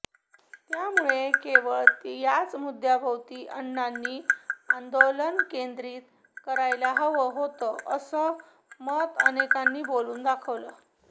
त्यामुळे केवळ याच मुद्द्याभोवती अण्णांनी आंदोलन केंद्रीत करायला हवं होतं असं मत अनेकांनी बोलून दाखवलं